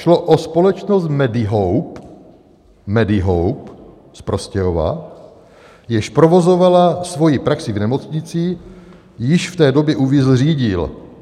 Šlo o společnost Medihope, Medihope z Prostějova, jež provozovala svoji praxi v nemocnici, již v té době Uvízl řídil.